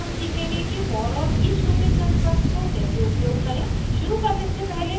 इस ट्यूटोरियल में हम सीखेंगे कि for और each लूपिंग कन्स्ट्रक्ट को कैसे उपयोग करें